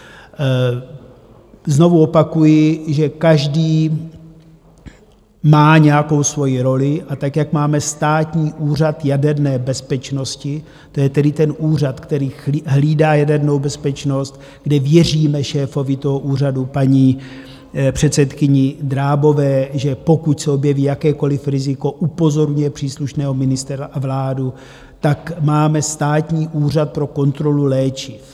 Znovu opakuji, že každý má nějakou svoji roli, a tak jak máme Státní úřad jaderné bezpečnosti, to je tedy ten úřad, který hlídá jadernou bezpečnost, kde věříme šéfovi toho úřadu, paní předsedkyni Drábové, že pokud se objeví jakékoliv riziko, upozorňuje příslušného ministra a vládu, tak máme Státní úřad pro kontrolu léčiv.